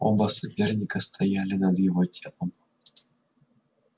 оба соперника стояли над его телом